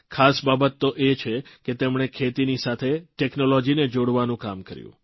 ખાસ બાબત તો એ છે કે તેમણે ખેતીની સાથે ટેકનોલોજીને જોડવાનું કામ કર્યું